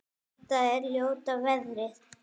Þetta er ljóta veðrið?